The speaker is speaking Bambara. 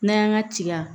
N'an y'an ka ci la